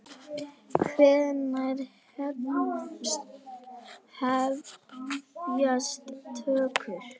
Hvenær hefjast tökur?